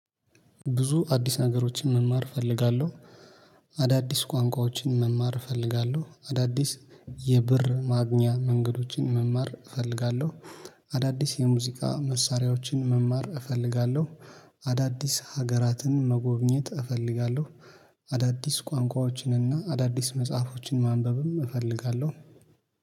ብዙ አዲስ ነገሮችን መማር እፈልጋለሁ። አዳዲስ ቋንቋዎችን መማር እፈልጋለሁ አዳዲስ የብር ማግኛ መንገዶችን መማር እፈልጋለሁ። አዳዲስ የሙዚቃ መሳሪያዎችን መማር እፈልጋለሁ። አዳዲስ ሀገራትን መጎብኘት እፈልጋለሁ። አዳዲስ ቋንቋዎችንና አዳዲስ መጽሐፎችን ማንበብም እፈልጋለሁ